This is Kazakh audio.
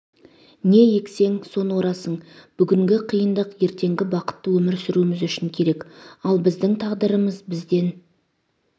не ексең соны орасың бүгінгі қиындық ертеңгі бақытты өмір сүруіміз үшін керек ал біздің тағдырымыз бізден